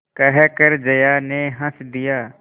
कहकर जया ने हँस दिया